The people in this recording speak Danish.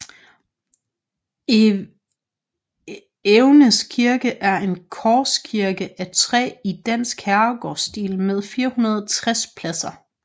Evenes Kirke er en korskirke af træ i dansk herregårdsstil med 460 pladser